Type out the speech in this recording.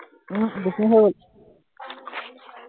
উম বিশ মিনিট হৈ গল।